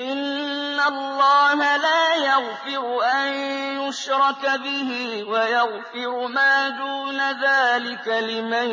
إِنَّ اللَّهَ لَا يَغْفِرُ أَن يُشْرَكَ بِهِ وَيَغْفِرُ مَا دُونَ ذَٰلِكَ لِمَن